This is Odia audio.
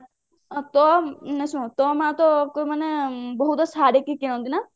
ତୋ ନାଇଁ ଶୁଣୁ ତୋ ମା ତ ବହୁତ ଶାଢୀ କିଣନ୍ତି ନା